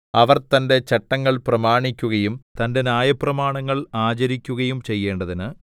അവർ തന്റെ ചട്ടങ്ങൾ പ്രമാണിക്കുകയും തന്റെ ന്യായപ്രമാണങ്ങൾ ആചരിക്കുകയും ചെയ്യേണ്ടതിന്